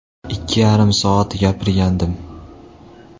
Ikki yarim soat gapirgandim.